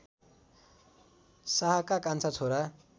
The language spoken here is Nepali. शाहका कान्छा छोरा